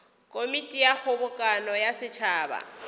komiti ya kgobokano ya setšhaba